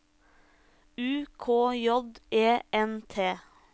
U K J E N T